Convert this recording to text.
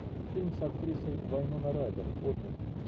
фильм с актрисой вайноной райдер отмель